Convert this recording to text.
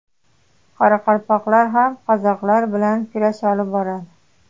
Qoraqalpoqlar ham qozoqlar bilan kurash olib boradi.